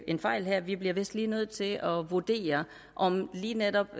en fejl her vi bliver vist nødt til at vurdere om lige netop